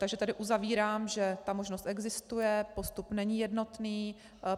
Takže tady uzavírám, že ta možnost existuje, postup není jednotný.